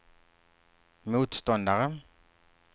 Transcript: motståndare